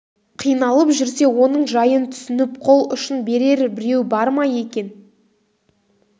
қиналып жүрсе оның жайын түсініп қол ұшын берер біреу бар ма екен